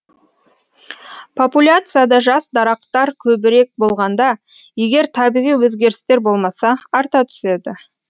популяцияда жас дарақтар көбірек болғанда егер табиғи өзгерістер болмаса арта түседі